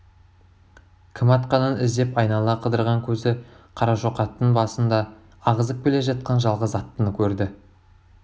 кім атқанын іздеп айнала қыдырған көзі қарашоқаттың басында ағызып келе жатқан жалғыз аттыны көрді